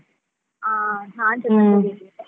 ಹಾ ನಾನ್ಸ ತಕೋಬೇಕು ಈಗ.